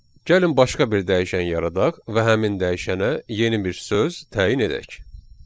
Gəlin başqa bir dəyişən yaradaq və həmin dəyişənə yeni bir söz təyin edək.